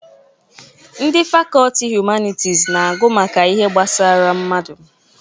Ndị fakọlti Humanitis na-agụ maka ihe gbasara mmadụ.